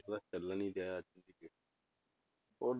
ਚੱਲ ਨੀ ਰਿਹਾ ਅੱਜ ਦੀ date 'ਚ ਔਰ